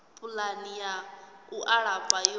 pulani ya u alafha yo